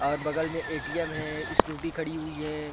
और बगल में एटीएम है स्कूटी खड़ी हुई है।